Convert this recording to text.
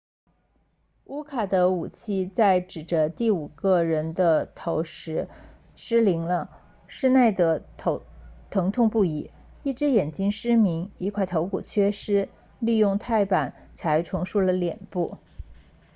乌卡 uka 的武器在指着第五个人的头时失灵了施耐德 schneider 疼痛不已一只眼睛失明一块头骨缺失利用钛板才重塑了脸部